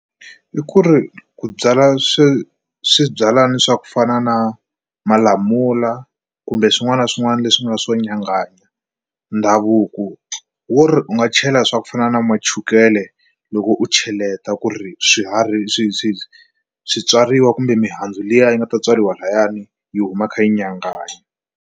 I ku ri ku byala swi swibyalana swa ku fana na malamula kumbe swin'wana na swin'wana leswi nga swo nyanganya ndhavuko wi ri u nga chela swa ku fana na ma chukele loko u cheleta ku ri swiharhi swi byariwa kumbe mihandzu liya yi nga ta tswariwa lahayani yi huma kha yi nyanganyi. vv